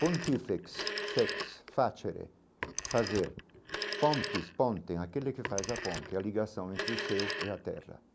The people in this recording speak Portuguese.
Pontifex, fex, facere, fazer, pontis, ponten, aquele que faz a ponte, a ligação entre o seu e a terra.